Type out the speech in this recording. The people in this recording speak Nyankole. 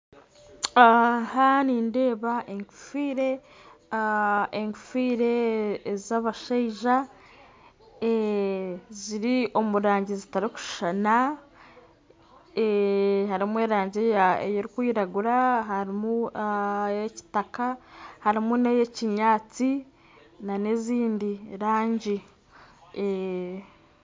Aha nindeeba enkofiira ez'abashaija ziri omu rangi zitarikushushana harimu erangi erikwiragura harimu eya kitaka harimu n'eya kinyatsi hamwe n'endi rangi